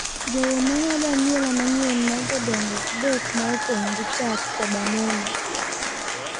jogo mang`ado anyuola manyien mar jodongo gi dhok ma opong’ gi chak kod amuna.